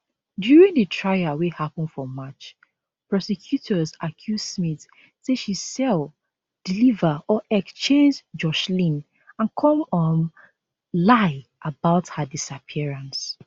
during di trial wey happun for march prosecutors accuse smith say she sell deliver or exchange joshlin and come um lie about her disappearance